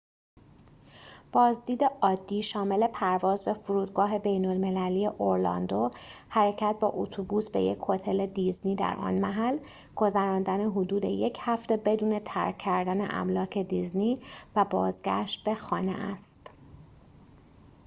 بازدید عادی شامل پرواز به فرودگاه بین‌المللی اورلاندو حرکت با اتوبوس به یک هتل دیزنی در آن محل گذراندن حدود یک هفته بدون ترک کردن املاک دیزنی و بازگشت به خانه است